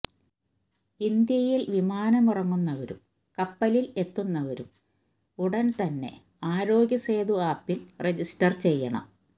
ഇന്ത്യയില് വിമാനമിറങ്ങുന്നവരും കപ്പലില് എത്തുന്നവരും ഉടന്തന്നെ ആരോഗ്യ സേതു ആപ്പില് രജിസ്റ്റര് ചെയ്യണം